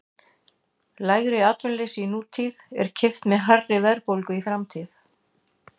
Lægra atvinnuleysi í nútíð er keypt með hærri verðbólgu í framtíð.